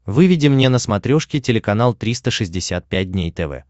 выведи мне на смотрешке телеканал триста шестьдесят пять дней тв